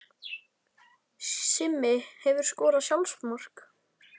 Simmi Hefurðu skorað sjálfsmark?